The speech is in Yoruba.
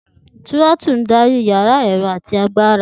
Tirotulu ń darí ìyára ẹ̀rọ àti agbára.